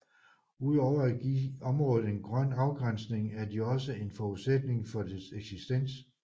Udover at give området en grøn afgrænsning er de også en forudsætning for dets eksistens